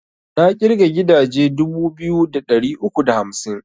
Na ƙirga gidaje dubu biyu da ɗari uku da hamsin